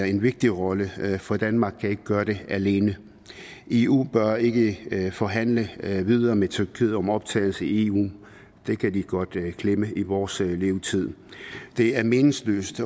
en vigtig rolle her for danmark kan ikke gøre det alene eu bør ikke forhandle videre med tyrkiet om optagelse i eu det kan de godt glemme i vores levetid det er meningsløst